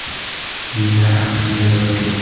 Menda ham shunday vaziyat.